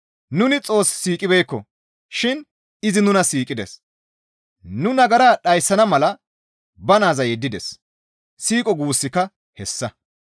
Nuni Xoos siiqibeekko shin izi nuna siiqides; nu nagaraa dhayssana mala ba naaza yeddides; siiqo guussika hessa.